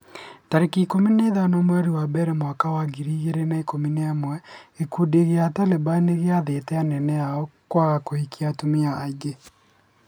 tarĩki ikũmi na ithano mweri wa mbere mwaka wa ngiri igĩrĩ na ikũmi na ĩmwe gĩkundi gĩa Taliban nĩgĩathĩte anene ao kwaga kũhikia atumia aingĩ.